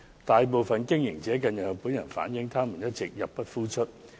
大部分營運者近日向本人反映，他們一直入不敷出。